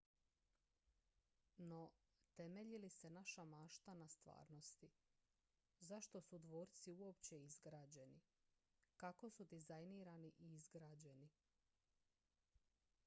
no temelji li se naša mašta na stvarnosti zašto su dvorci uopće izgrađeni kako su dizajnirani i izgrađeni